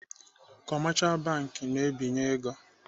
Kọmashal bank na-ebinye ego.